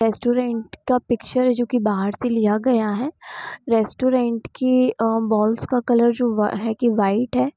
Restaurant का picture है जो कि बाहर से लिया गया है। रेस्टोरेन्ट की अ वाल्स का कलर जो- अ है की व्हाइट है।